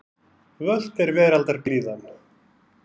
Völt er veraldar blíðan.